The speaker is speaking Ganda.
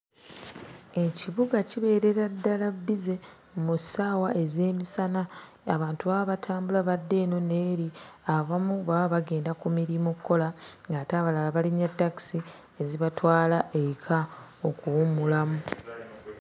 Ekibuga kibeerera ddala bbize mu ssaawa ez'emisana. Abantu baba batambula badda eno n'eri; abamu baba bagenda ku mirimu kkola ng'ate abalala balinnya takisi ezibatwala eka okuwummulamu.